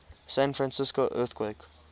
san francisco earthquake